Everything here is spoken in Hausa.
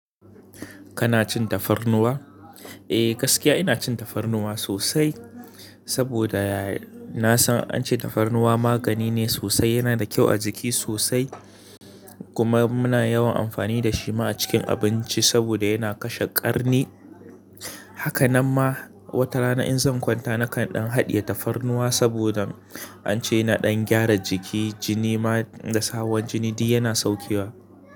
Kana cin tafarnuwa? Eh, gaskiya ina cin tafarnuwa sosai, saboda na san an ce tafarnuwa magani ne sosai. Yana da kyau a jiki sosai, kuma muna yawan amfani da shi ma a cikin abinci saboda yana kashe ƙarni. Haka nan ma watarana in zan kwanta nakan dan haɗiye tafarnuwa saboda an ce yana ɗan gyara jiki, jini ma da su hawan jini duk yana saukewa.